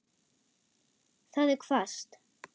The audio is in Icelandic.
Það er hvasst.